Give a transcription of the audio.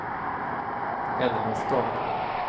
Älmestad